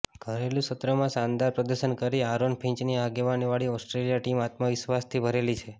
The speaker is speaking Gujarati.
ઘરેલુ સત્રમાં શાનદાર પ્રદર્શન કરી આરોન ફિંચની આગેવાની વાળી ઓસ્ટ્રેલિયા ટીમ આત્મવિશ્વાસથી ભરેલી છે